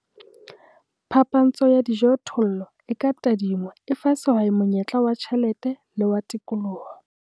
Phapantsho ya dijothollo e ka tadingwa e fa sehwai monyetla wa tjhelete le wa tikoloho.